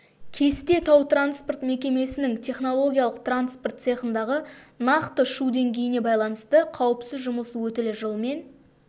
кесте тау-транспорт мекемесінің технологиялық транспорт цехындағы нақты шу деңгейіне байланысты қауіпсіз жұмыс өтілі жылмен